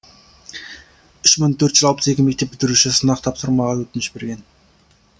үш мың төрт жүз алпыс екі мектеп бітіруші сынақ тапсырмауға өтініш берген